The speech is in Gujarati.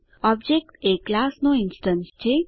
ઓબજેક્ટ એ ક્લાસનો ઇન્સ્ટેન્સ છે